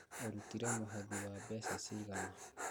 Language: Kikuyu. ũrutire mũhothi wa mbeca cigana